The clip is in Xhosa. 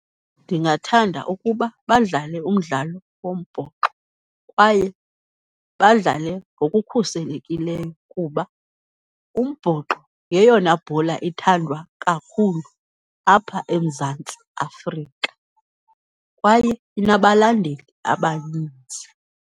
Ndingathanda ukuba badlale umdlalo wombhoxo kwaye badlale ngokukhuselekileyo kuba umbhoxo yeyona bhola ithandwa kakhulu apha eMzantsi Afrika kwaye inabalandeli abanintsi.